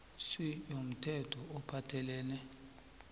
c yomthetho ophathelene